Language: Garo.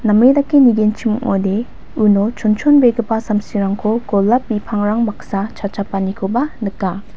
name dake nigenchimode uno chonchonbegipa samsirangko golap bipangrang baksa chachapanikoba nika.